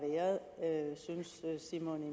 simon